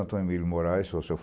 Antônio Emílio Moraes